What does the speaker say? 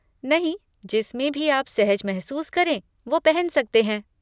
नहीं, जिसमें भी आप सहज महसूस करें वो पहन सकते हैं।